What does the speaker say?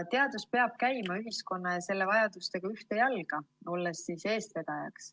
Teadus peab käima ühiskonna ja selle vajadustega ühte jalga, olles eestvedajaks.